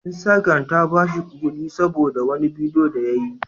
Instagram ta ba shi kuɗi saboda wani bidiyo da ya yi.